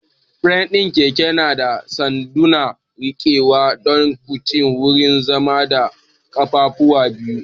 Firam ɗin keke yana da sanduna rikewa don tuƙi, wurin zama, da ƙafafu biyu.